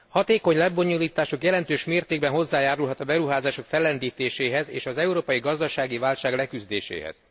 Hatékony lebonyolításuk jelentős mértékben hozzájárulhat a beruházások fellendítéséhez és az európai gazdasági válság leküzdéséhez.